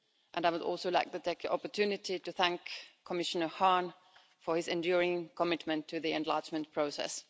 I would also like to take the opportunity to thank Commissioner Hahn for his enduring commitment to the enlargement process.